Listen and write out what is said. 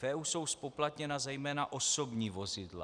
V EU jsou zpoplatněna zejména osobní vozidla.